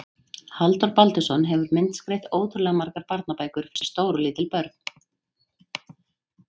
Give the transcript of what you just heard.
Halldór Baldursson hefur myndskreytt ótrúlega margar barnabækur fyrir stór og lítil börn.